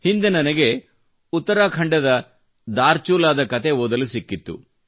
ಹಿಂದೆ ನನಗೆ ಉತ್ತರಾಖಂಡದ ಧಾರಚುಲಾ ದ ಕತೆ ಓದಲು ಸಿಕ್ಕಿತ್ತು